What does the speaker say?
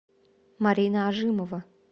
марина ожимова